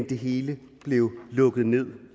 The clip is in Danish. det hele blev lukket ned